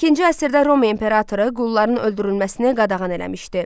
İkinci əsrdə Roma imperatoru qulların öldürülməsini qadağan eləmişdi.